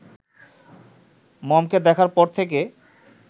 মমকে দেখার পর থেকে